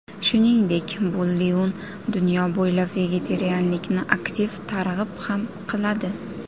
Shuningdek, Boldiun dunyo bo‘ylab vegetarianlikni aktiv targ‘ib ham qiladi.